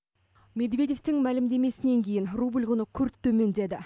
медведевтің мәлімдемесінен кейін рубль құны күрт төмендеді